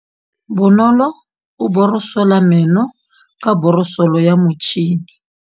Bonolô o borosola meno ka borosolo ya motšhine.